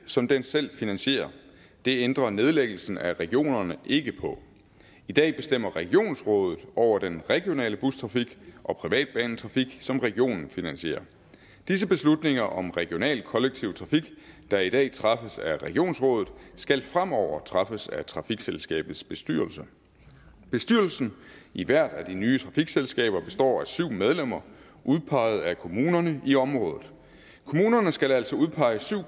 som den selv finansierer det ændrer nedlæggelsen af regionerne ikke på i dag bestemmer regionsrådet over den regionale bustrafik og privatbanetrafik som regionen finansierer disse beslutninger om regional kollektiv trafik der i dag træffes af regionsrådet skal fremover træffes af trafikselskabets bestyrelse bestyrelsen i hvert af de nye trafikselskaber består af syv medlemmer udpeget af kommunerne i området kommunerne skal altså udpege syv